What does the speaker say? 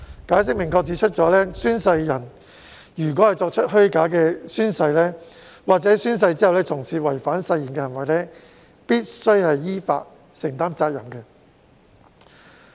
《解釋》亦明確指出，宣誓人若作出虛假宣誓，或者在宣誓之後從事違反誓言的行為，必須依法承擔責任。